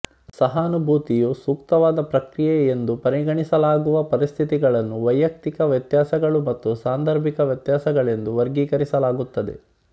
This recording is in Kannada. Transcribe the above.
ಸಹಾನುಭೂತಿಯು ಸೂಕ್ತವಾದ ಪ್ರತಿಕ್ರಿಯೆಯೆಂದು ಪರಿಗಣಿಸಲಾಗುವ ಪರಿಸ್ಥಿತಿಗಳನ್ನು ವೈಯಕ್ತಿಕ ವ್ಯತ್ಯಾಸಗಳು ಮತ್ತು ಸಾಂದರ್ಭಿಕ ವ್ಯತ್ಯಾಸಗಳೆಂದು ವರ್ಗೀಕರಿಸಲಾಗುತ್ತದೆ